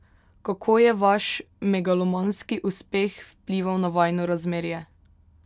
Kako je vaš megalomanski uspeh vplival na vajino razmerje?